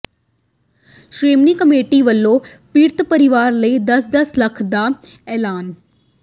Shiromani committee ਵੱਲੋਂ ਪੀਡ਼ਤ ਪਰਿਵਾਰਾਂ ਲਈ ਦਸ ਦਸ ਲੱਖ ਦਾ ਐਲਾਨ